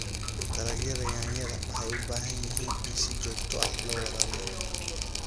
Dalagyada yaanyada waxay u baahan yihiin in si joogto ah loo waraabiyo.